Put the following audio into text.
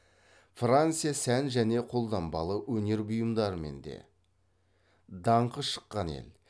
франция сән және қолданбалы өнер бұйымдарымен де даңқы шыққан ел